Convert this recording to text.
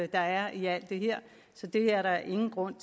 der er i alt det her så det er der ingen grund